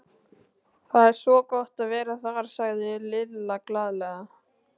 Það er svo gott að vera þar, sagði Lilla glaðlega.